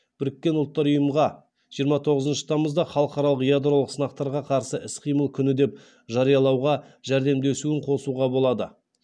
біріккен ұлттар ұйымға жиырма тоғызыншы тамызда халықаралық ядролық сынақтарға қарсы іс қимыл күні деп жариялауға жәрдемдесуін қосуға болады